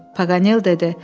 Paqanel dedi: